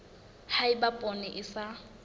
ha eba poone e sa